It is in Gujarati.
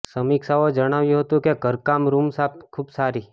સમીક્ષાઓ જણાવ્યું હતું કે ઘરકામ રૂમ સાફ ખૂબ સારી